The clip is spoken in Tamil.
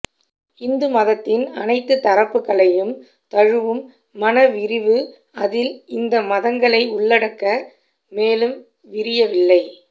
இந்துமதத்தின் அனைத்துத் தரப்புகளையும் தழுவும் மனவிரிவு அதில் இந்த மதங்களை உள்ளடக்க மேலும் விரியவில்லை